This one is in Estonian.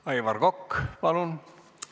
Aivar Kokk, palun!